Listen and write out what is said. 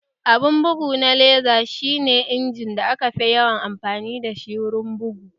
Abun bugu na laser shi ne injimin da aka fi yawan amfani dashi wurin bugu